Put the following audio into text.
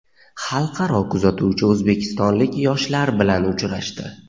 Xalqaro kuzatuvchi o‘zbekistonlik yoshlar bilan uchrashdi!.